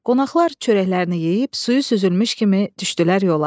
Qonaqlar çörəklərini yeyib suyu süzülmüş kimi düşdülər yola.